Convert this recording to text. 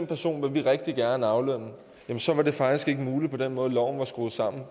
person vil vi rigtig gerne aflønne så var det faktisk ikke muligt med den måde loven var skruet sammen